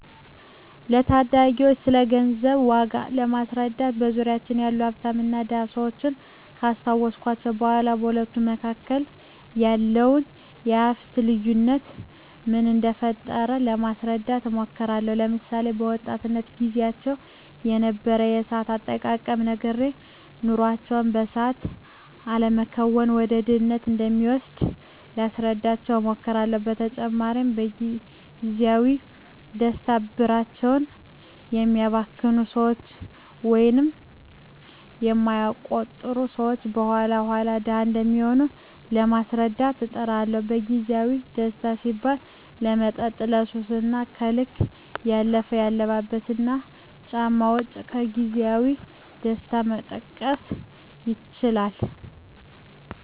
ለታዳጊወች ስለገንዘብ ዋጋ ለማስረዳት በዙሪያችን ያሉ ሀፍታምና ድሀ ሰወችን ካስታወስኳቸው በኋ በሁለቱ መካከል ያለውን የሀፍት ልዮነት ምን እደፈጠረው ለማስረዳት እሞክራለሁ። ለምሳሌ፦ በወጣትነት ግዚያቸው የነበረውን የሰአት አጠቃቀም ነግሬ ነገሮችን በሰአት አለመከወን ወደ ድህነት እንደሚወስድ ላስረዳቸው እሞክራለው። በተጨማሪም ለግዚያዊ ደስታ ብራቸውን የሚያባክኑ ሰወች ወይም የማይቆጥቡ ሰወች የኋላ ኋላ ድሀ እንደሚሆኑ ለማስረዳት እጥራለሁ። ለግዜአዊ ደስታ ሲባል ለመጠጥ፣ ለሱስ እና ከልክ ያለፈ የአልባሳትና ጫማ ወጭ ከግዜያዊ ደስታ መጠቀስ ይችላሉ።